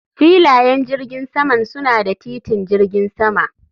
Filayen jirgin saman suna da titin jirgin sama